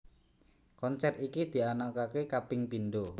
Konser iki dianakake kaping pindho